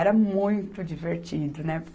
Era muito divertido, né?